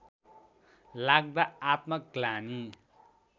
लाग्दा आत्मग्लानि